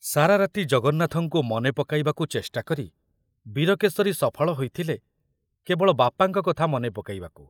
ସାରାରାତି ଜଗନ୍ନାଥଙ୍କୁ ମନେ ପକାଇବାକୁ ଚେଷ୍ଟାକରି ବୀରକେଶରୀ ସଫଳ ହୋଇଥିଲେ କେବଳ ବାପାଙ୍କ କଥା ମନେ ପକାଇବାକୁ।